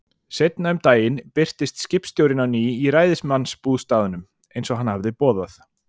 Seinna um daginn birtist skipstjórinn á ný í ræðismannsbústaðnum, eins og hann hafði boðað.